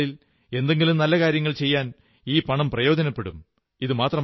വരുംനാളുകളിൽ എന്തെങ്കിലും നല്ല കാര്യം ചെയ്യാൻ ഈ പണം പ്രയോജനപ്പെടും